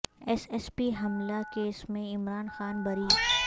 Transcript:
S S P حملہ case میں عمران خان بری